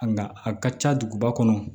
Nka a ka ca duguba kɔnɔ